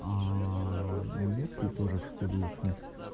немецкий тоже в школе учу